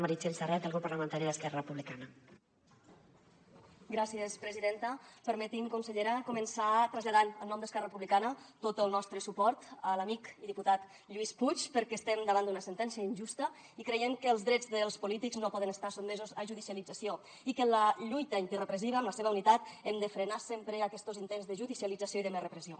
permeti’m consellera començar traslladant en nom d’esquerra republicana tot el nostre suport a l’amic i diputat lluís puig perquè estem davant d’una sentència injusta i creiem que els drets dels polítics no poden estar sotmesos a judicialització i que amb la lluita antirepressiva amb la seva unitat hem de frenar sempre aquestos intents de judicialització i de més repressió